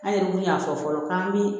An yɛrɛ kun y'a fɔ fɔlɔ k'an bi